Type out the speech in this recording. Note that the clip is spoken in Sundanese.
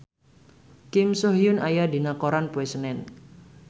Kim So Hyun aya dina koran poe Senen